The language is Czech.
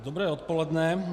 Dobré odpoledne.